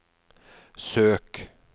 søk